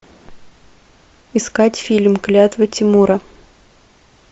искать фильм клятвы тимура